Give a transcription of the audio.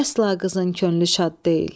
Əsla qızın könlü şad deyil.